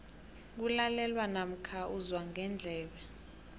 kulalelwa namkha uzwa ngendlebe